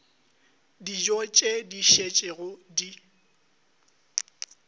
dijo tše di šetšego di